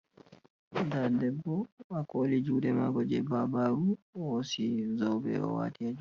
Da ɗeɓɓo ha koli juɗe mako je ɓaɓaru ohosi zoɓe owati.